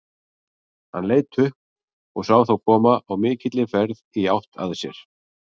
Hann leit upp og sá þá koma á mikilli ferð í átt að sér.